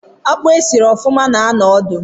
Akpụ esiri ofuma na-anọ odu